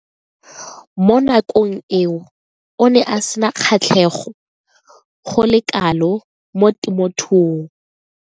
Mo nakong eo o ne a sena kgatlhego go le kalo mo temothuong.